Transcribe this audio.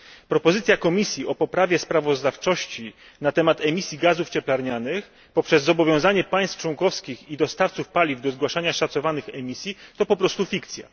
Propozycja Komisji dotycząca poprawy sprawozdawczości na temat emisji gazów cieplarnianych poprzez zobowiązanie państw członkowskich i dostawców paliw do zgłaszania szacowanych emisji to po prostu fikcja.